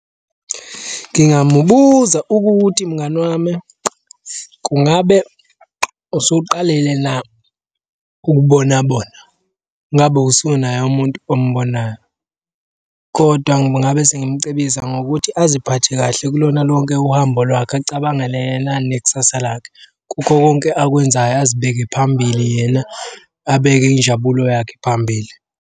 Ngingamubuza ukuthi mngani wami kungabe usuqalile na ukubona bona, ngabe usunaye umuntu ombonayo, kodwa ngingabe sengimucebisa ngokuthi aziphathe kahle kulona lonke uhambo lwakhe acabangele yena nekusasa lakhe. Kukho konke akwenzayo azibeke phambili yena, abeke injabulo yakhe phambili.